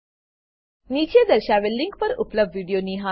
નીચે દર્શાવેલ લીંક પર ઉપલબ્ધ વિડીયો નિહાળો